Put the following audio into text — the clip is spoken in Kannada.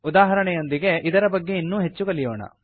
ಉದಾಹರಣೆಯೊಂದಿಗೆ ಇದರ ಬಗ್ಗೆ ಇನ್ನೂ ಹೆಚ್ಚು ಕಲಿಯೋಣ